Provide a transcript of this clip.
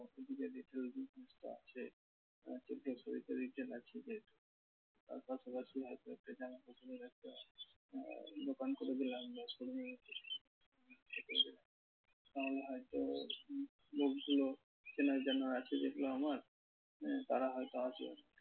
তাহলে হয়তো যেগুলো চেনা জানা আছে হয়তো আমার আহ তার হয়তো আসবে।